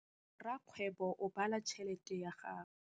Rakgwêbô o bala tšheletê ya gagwe.